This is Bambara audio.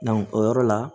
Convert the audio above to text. o yɔrɔ la